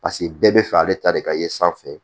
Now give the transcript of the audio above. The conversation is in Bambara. Paseke bɛɛ bɛ fɛ ale ta de ka ye sanfɛ